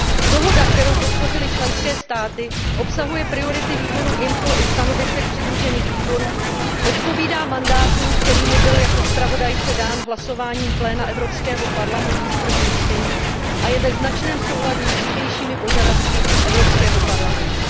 Dohoda, kterou podpořily členské státy, obsahuje priority Výboru pro vnitřní trh a ochranu spotřebitelů i stanovisek přidružených výborů, odpovídá mandátu, který mi byl jako zpravodajce dán hlasováním pléna Evropského parlamentu v prvním čtení a je ve značném souladu s dřívějšími požadavky Evropského parlamentu.